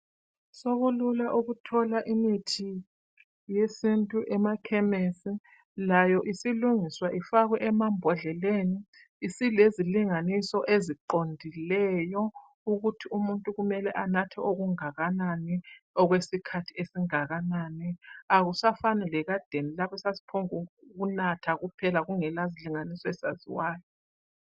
Sokulula ukuthola imithi yesintu emakhemesi. Layo isilungiswa ifakwe emabhodleleni. Isilezilinganiso eziqondileyo ukuthi umuntu mele anathe okungakanani okwesikhathi esingakanani. Akusafani lekadeni lapho esasiphongunatha kungela zilinganiso ezaziwayo.